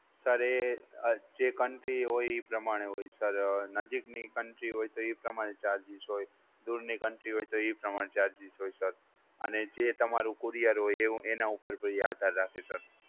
Sir એ જે country હોય એ પ્રમાણે હોય સર નજીકની country હોય તો એ પ્રમાણે charges હોય દુરની country હોય તો એ પ્રમાણે charges હોય સર અને જે તમારું courier હોય એના ઉપર આધાર રાખે સર.